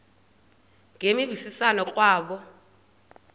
ngemvisiswano r kwabo